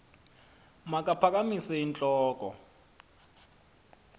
makaphakamise int loko